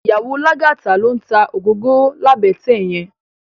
Iyàwó Lagata ló n tá ógógóró làbètè yèn